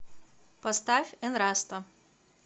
поставь энраста